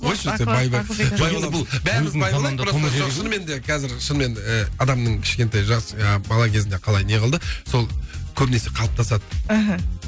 қойшы сен шынымен де қазір шынымен ы адамның кішкентай жас ы бала кезінде қалай не қылды сол көбінесе қалыптасады мхм